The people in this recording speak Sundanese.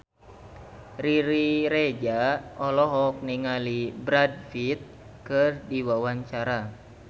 Riri Reza olohok ningali Brad Pitt keur diwawancara